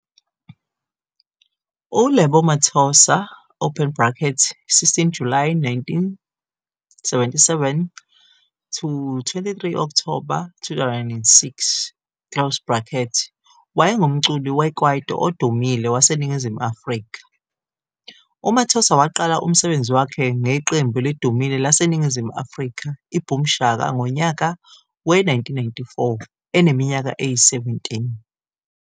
U-Lebo Mathosa, 16 Julayi 1977 - 23 Okthoba 2006, wayengumculi we-kwaito odumile waseNingizimu Afrika. UMathosa waqala umsebenzi wakhe ngeqembu elidumile laseNingizimu Afrika iBoom Shaka ngonyaka we-1994 eneminyaka eyi-17.